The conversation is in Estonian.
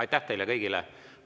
Aitäh teile kõigile!